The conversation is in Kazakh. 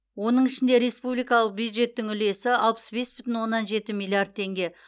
оның ішінде республикалық бюджеттің үлесі алпыс бес бүтін оннан жеті миллиард теңге